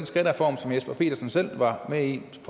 skattereform som jesper petersens parti selv var med i som